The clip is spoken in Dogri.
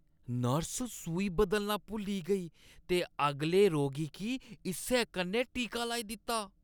नर्स सूई बदलना भुल्ली गेई ते अगले रोगी गी इस्सै कन्नै टीका लाई दित्ता।